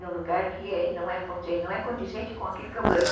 num lugar que não é condizente com aquilo que eu ganho.